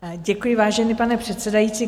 Děkuji, vážený pane předsedající.